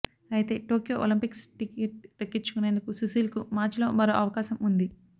అయితే Tokyo Olympics ticket దక్కించుకునేందుకు సుశీల్కు మార్చిలో మరో అవకాశం ఉంది